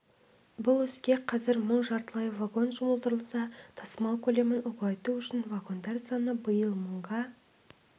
бұл іске қазір мың жартылай вагон жұмылдырылса тасымал көлемін ұлғайту үшін вагондар саны биыл мыңға